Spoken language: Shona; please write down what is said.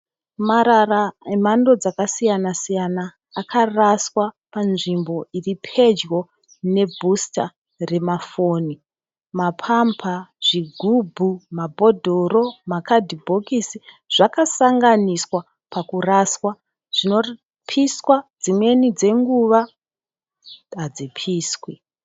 Marara emhando dzakasiyana siyana akaraswa panzvimbo iripedyo ne bhusita remafoni. Mapamba, zvigubhu, mabhodhoro makadhibhokisi zvakasanganiswa pakuraswa. Zvinopiswa dzimweni dzenguva ngadzipiswe.